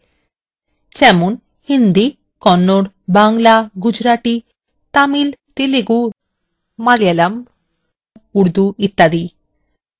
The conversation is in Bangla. এইখানে প্রায় সব বহুল ব্যবহৃত ভারতীয় ভাষা অন্তর্ভুক্ত রয়েছে যেমন hindi kannada Bangla gujarati tamil telugu malayalam urdu ইত্যাদি